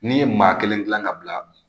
N'i ye maa kelen gilan ka bila